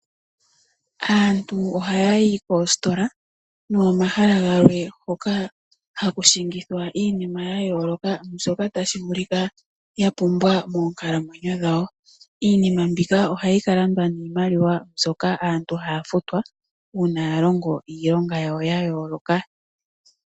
Aantu oha yayi koositola nokomahala gamwe hoka ha kushingithwa iinima ya yooloka mbyoka tashi vulika ya pumbwa moonkalamwenyo dhawo. Iinima mbika ohayi kalandwa niimaliwa yawo mbyoka aantu haya futwa ngele yalongo iilonga yawo ya yooloka.